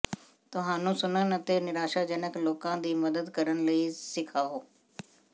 ਤੁਹਾਨੂੰ ਸੁਣਨ ਅਤੇ ਨਿਰਾਸ਼ਾਜਨਕ ਲੋਕਾਂ ਦੀ ਮਦਦ ਕਰਨ ਲਈ ਸਿਖਾਓ